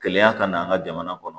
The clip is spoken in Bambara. Kɛlɛya ka na an ka jamana kɔnɔ